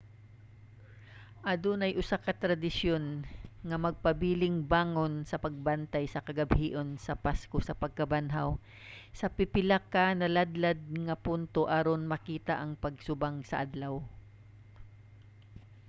adunay usa ka tradisyon nga magpabiling bangon sa paglabay sa kagabhion sa pasko sa pagkabanhaw sa pipila ka naladlad nga punto aron makita ang pagsubang sa adlaw